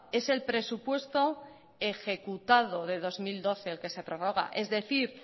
es el presupuesto ejecutado de dos mil doce el que se prorroga es decir